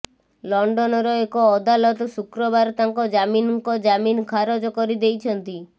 ଲଣ୍ଡନର ଏକ ଅଦାଲତ ଶୁକ୍ରବାର ତାଙ୍କ ଜାମିନ୍ ଙ୍କ ଜାମିନ୍ ଖାରଜ କରିଦେଇଛନ୍ତି